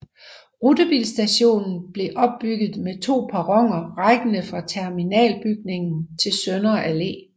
Rutebilstationen blev opbygget med to perroner rækkende fra terminalbygningen til Sønder Allé